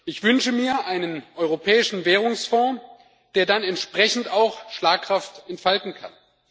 Ich wünsche mir einen europäischen Währungsfonds, der dann entsprechend auch Schlagkraft entfalten kann.